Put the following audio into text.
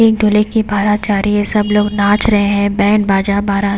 ये एक दूल्हे की बारात जा रही है सब लोग नाच रहे हैं बैंड बाजा बारात--